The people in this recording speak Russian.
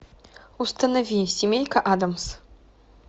установи семейка адамс